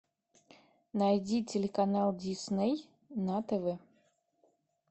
найди телеканал дисней на тв